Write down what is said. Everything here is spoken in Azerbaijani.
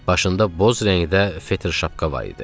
Başında boz rəngdə fetr şapka var idi.